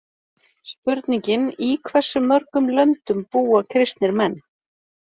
Spurningin Í hversu mörgum löndum búa kristnir menn?